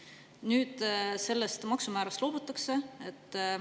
Nüüd sellest maksumäärast loobutakse.